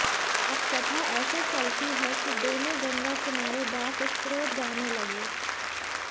अब कथा ऐसे चलती है कि दोनों गंगा किनारे बैठ स्तोत्र गाने लगे